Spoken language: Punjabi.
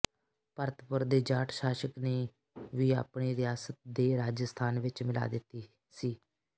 ਭਰਤਪੁਰ ਦੇ ਜਾਟ ਸ਼ਾਸਕ ਨੇ ਵੀ ਆਪਣੀ ਰਿਆਸਤ ਦੇ ਰਾਜਸਥਾਨ ਵਿੱਚ ਮਿਲਾ ਦਿਤੀ ਸੀ